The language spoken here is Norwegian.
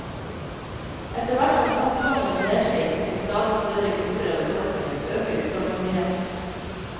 Etterhvert som fattigdommen brer seg til stadig større grupper av befolkningen, øker utålmodigheten.